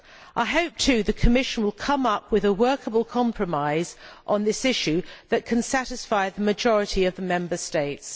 I hope, too, the Commission will come up with a workable compromise on this issue that can satisfy the majority of the Member States.